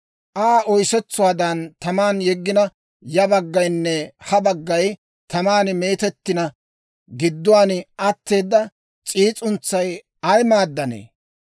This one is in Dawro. Aa oysetsuwaadan taman yeggina, ya baggaynne ha baggay taman meetettina, gidduwaan atteeda s'iis'untsay ay maaddanee?